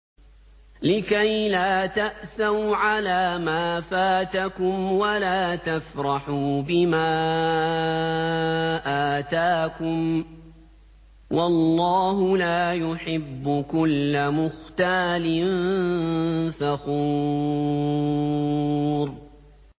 لِّكَيْلَا تَأْسَوْا عَلَىٰ مَا فَاتَكُمْ وَلَا تَفْرَحُوا بِمَا آتَاكُمْ ۗ وَاللَّهُ لَا يُحِبُّ كُلَّ مُخْتَالٍ فَخُورٍ